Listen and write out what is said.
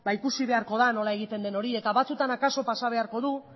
ikusi beharko da nola egiten den hori eta batzuetan akaso pasa beharko du